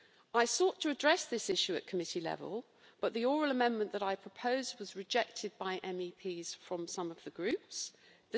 I sought to address this issue at committee level, but the oral amendment that I proposed was rejected by MEPs from some of the political groups.